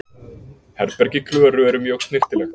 Herbergi Klöru er mjög snyrtilegt.